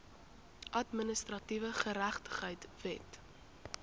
administratiewe geregtigheid wet